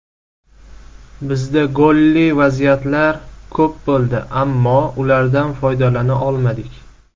Bizda golli vaziyatlar ko‘p bo‘ldi, ammo ulardan foydalana olmadik.